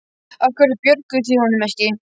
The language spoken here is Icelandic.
Af hverju björguðuð þið honum ekki?